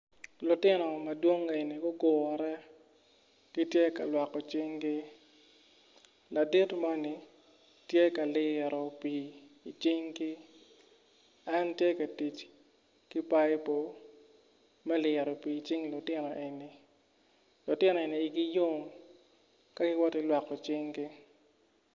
Lutino madwong eni gugure gityeka lwoko cingi ladit moni tye ka liyo pii i cingi en tye ka tic ki paipo me liro pii i cing lutino eni lutino eni igi yom ka kitye ka liro pii i cingi.